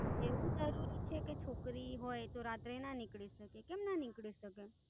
એવું જરૂરી છે, કે છોકરી હોઈ તો રાત્રે ના નીકળી શકે? કેમ ના નીકળી શકે?